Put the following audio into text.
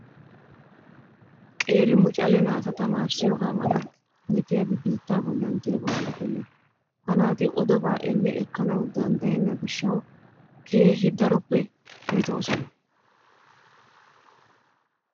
Qeeri mucale naata tamaarissiyooga mala metiyaabi biittaa bollan diyaaba malatenna. Ha naati odobaa elle ekkanawu danddayenna gishshawu keehi daroppe metoosona.